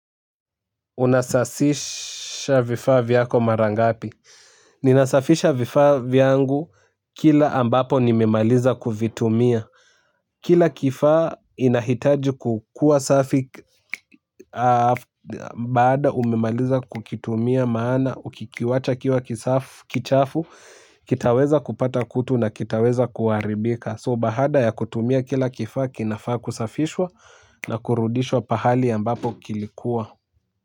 Unasafisha vifaa vyako mara ngapi. Ninasafisha vifaa vyangu kila ambapo nimemaliza kuvitumia. Kila kifaa inahitaji kukua safi baada umemaliza kukitumia maana ukikiwacha kikiwa kichafu kitaweza kupata kutu na kitaweza kuharibika "so" baada ya kutumia kila kifaa kinafaa kusafishwa na kurudishwa pahali ambapo kilikuwa.